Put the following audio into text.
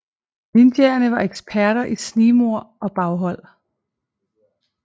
Ninjaerne var eksperter i snigmord og baghold